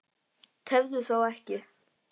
Tefðu þá ekki.